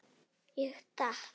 Ég datt.